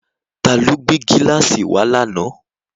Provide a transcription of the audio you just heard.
Ta ló gbé gíláàsì wá lánàá?